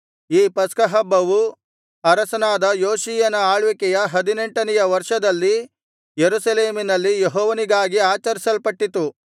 ಈ ಪಸ್ಕಹಬ್ಬವು ಅರಸನಾದ ಯೋಷೀಯನ ಆಳ್ವಿಕೆಯ ಹದಿನೆಂಟನೆಯ ವರ್ಷದಲ್ಲಿ ಯೆರೂಸಲೇಮಿನಲ್ಲಿ ಯೆಹೋವನಿಗಾಗಿ ಆಚರಿಸಲ್ಪಟ್ಟಿತು